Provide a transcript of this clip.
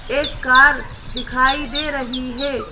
एक कार दिखाई दे रही है।